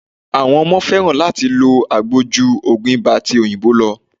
Àwọn ọmọ fẹ́ràn láti lo agbo ju ogun ibà ti òyìnbó lọ.